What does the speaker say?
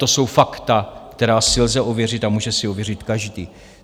To jsou fakta, která si lze ověřit a může si ověřit každý.